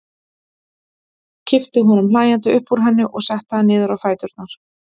Kippti honum hlæjandi upp úr henni og setti hann niður á fæturna.